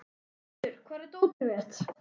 Hámundur, hvar er dótið mitt?